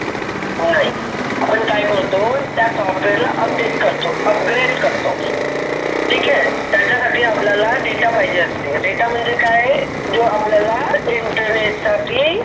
नाही आपन काई करतो त्या Software ला update करतो, upgrade करा करतो. त्याच्यासाठी आपल्याला data पाहिजे. data म्हणजे काय? जो आपल्याला internet साठी